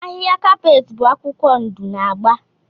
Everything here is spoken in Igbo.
Ahịhịa kapeeti bụ akwụkwọ ndụ na agba.